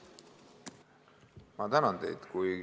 Ma tänan teid!